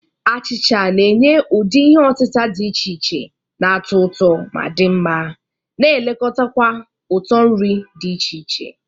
Achicha na-enye ụdị ihe otita dị iche iche na-atọ ụtọ ma di nma, na-elekota kwa uto nri dị iche iche.